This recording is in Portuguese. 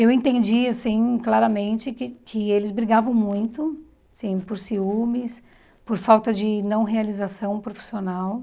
Eu entendi, assim, claramente que que eles brigavam muito, assim por ciúmes, por falta de não realização profissional,